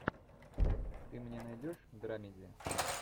ты мне найдешь драмеди